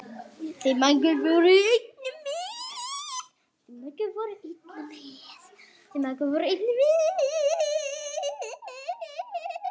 Þær mæðgur voru einnig með.